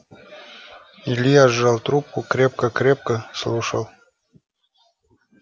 илья сжал трубку крепко крепко слушал